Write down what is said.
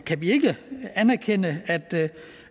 kan vi ikke anerkende